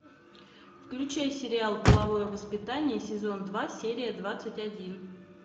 включай сериал половое воспитание сезон два серия двадцать один